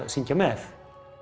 syngja með